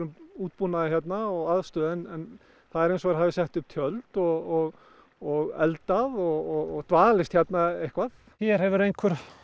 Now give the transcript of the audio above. útbúnaði hérna og aðstöðu en það er eins og þeir hafi sett upp tjöld og og eldað og dvalist hérna eitthvað hér hefur einhver